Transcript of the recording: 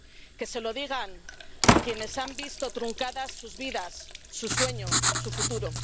que se lo digan a quienes han visto truncadas sus vidas, su sueño, su futuro.